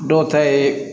Dɔw ta ye